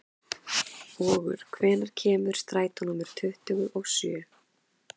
Vogur, hvenær kemur strætó númer tuttugu og sjö?